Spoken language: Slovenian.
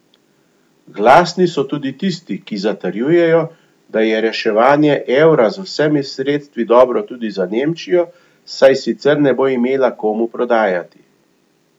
Glasni so tudi tisti, ki zatrjujejo, da je reševanje evra z vsemi sredstvi dobro tudi za Nemčijo, saj sicer ne bo imela komu prodajati.